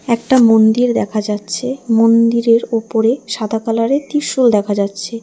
একটা মন্দির দেখা যাচ্ছে মন্দিরের ওপরে সাদা কালারের ত্রিশূল দেখা যাচ্ছে।